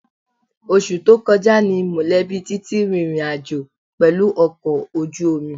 Oṣù tó kọjá ni mọ̀lẹ́bí Titi rìnrìn àjò pẹ̀lú ọkọ̀ ojú omi